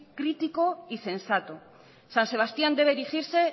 crítico y sensato san sebastián debe erigirse